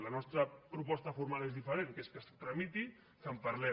la nostra proposta formal és diferent que és que es tramiti i que en parlem